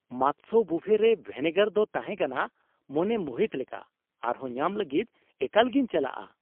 ᱢᱟᱛᱥᱚ ᱵᱩᱯᱷᱮ ᱨᱮ ᱵᱷᱮᱱᱮᱜᱟᱨ ᱫᱚ ᱛᱟᱦᱮᱸ ᱠᱟᱱᱟ ᱢᱚᱱᱮ ᱢᱩᱦᱤᱛ ᱞᱮᱠᱟ ! ᱟᱨᱦᱚᱸ ᱧᱟᱢ ᱞᱟᱹᱜᱤᱫ ᱮᱠᱟᱞ ᱜᱮᱧ ᱪᱟᱞᱟᱜᱼᱟ ᱾